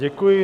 Děkuji.